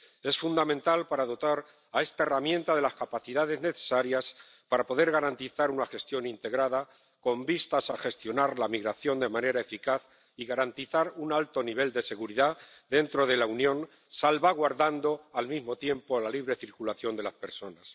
es fundamental para dotar a esta herramienta de las capacidades necesarias para poder garantizar una gestión integrada con vistas a gestionar la migración de manera eficaz y garantizar un alto nivel de seguridad dentro de la Unión, salvaguardando, al mismo tiempo, la libre circulación de las personas.